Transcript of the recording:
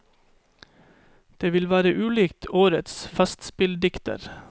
Det ville vært ulikt årets festspilldikter.